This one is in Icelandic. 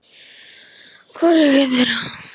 Hvorugu þeirra.